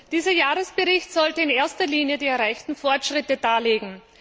Dieser Jahresbericht sollte in erster Linie die erreichten Fortschritte darlegen.